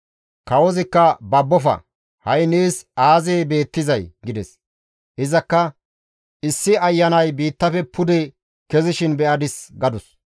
Kawozikka, «Babbofa; ha7i nees aazee beettizay?» gides. Izakka, «Issi ayanay biittafe pude kezishin be7adis» gadus.